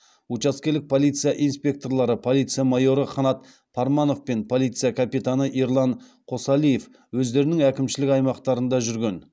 учаскелік полиция инспекторлары полиция майоры қанат парманов пен полиция капитаны ерлан қосалиев өздерінің әкімшілік аймақтарында жүрген